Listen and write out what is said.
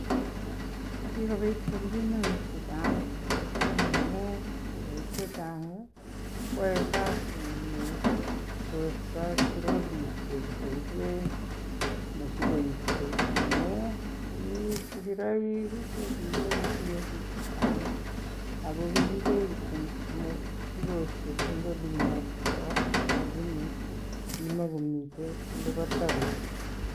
Kigobit kelchinoik chechang mising ngamun biik chechang koyoi kasini torto trolisiek koiben mosigosiek amun kii sigiroik kogimogotinye biik chechang ago kigiiben kityo mosigosiek en olinbo resob lakini kimogomiten olibo taonit.